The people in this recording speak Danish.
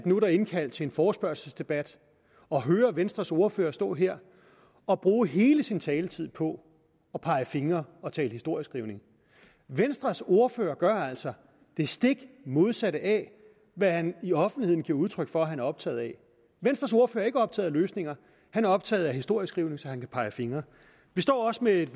nu er indkaldt til en forespørgselsdebat og at høre venstres ordfører stå her og bruge hele sin taletid på at pege fingre og tale historieskrivning venstres ordfører gør altså det stik modsatte af hvad han i offentligheden giver udtryk for han er optaget af venstres ordfører er ikke optaget af løsninger han er optaget af historieskrivning så han kan pege fingre vi står også med et